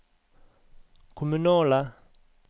kommunale